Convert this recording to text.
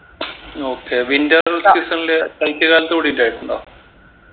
okay winter season ല് ശൈത്യകാലത്ത് ഇവിടെ ഇണ്ടായിട്ടുണ്ടോ